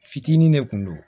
Fitinin de kun do